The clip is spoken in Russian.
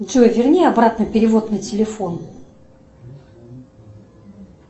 джой верни обратно перевод на телефон